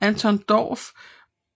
Anton Dorph